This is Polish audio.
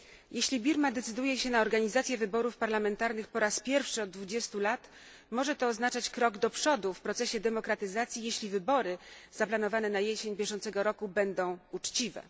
Jeśli Birma decyduje się na organizację wyborów parlamentarnych po raz pierwszy od 20 lat, może to oznaczać krok do przodu w procesie demokratyzacji, jeśli wybory zaplanowane na jesień bieżącego roku będą uczciwe.